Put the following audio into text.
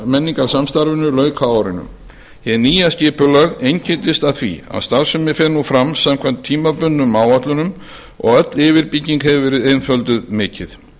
menningarsamstarfinu lauk á árinu hið nýja skipulag einkennist af því að starfsemin fer nú fram samkvæmt tímabundnum áætlunum og öll yfirbygging hefur verið einfölduð mikið